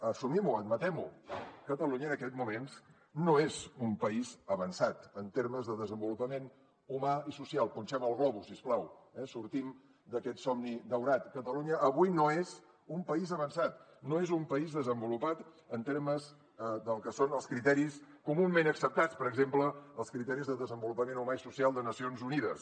assumim ho admetem ho catalunya en aquests moments no és un país avançat en termes de desenvolupament humà i social punxem el globus si us plau eh sortim d’aquest somni daurat catalunya avui no és un país avançat no és un país desenvolupat en termes del que són els criteris comunament acceptats per exemple els criteris de desenvolupament humà i social de nacions unides